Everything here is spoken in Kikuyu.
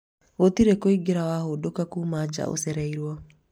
gũtirĩ kũingĩra wahũndũka kuma ja ũcereiruo